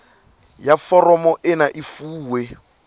ya foromo ena e fuwe